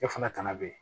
E fana tana be yen